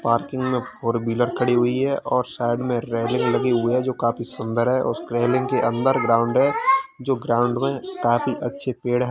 Parking में four wheeler खड़ी हुई है और साइड में रेलिंग लगी हुई है जो काफी सुंदर है और उस रेलिंग के अंदर ग्राउंड है जो ग्राउंड में काफी अच्छे पेड़ हैं।